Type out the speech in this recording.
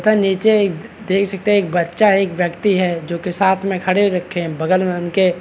इतना नीचे एक देख सकते है एक बच्चा है एक व्यक्ति है जो कि साथ में खड़े रखे हैं। बगल में उनके-- .